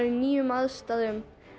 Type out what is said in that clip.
í nýjum aðstæðum